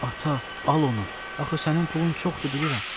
Ata, al onu, axı sənin pulun çoxdur, bilirəm.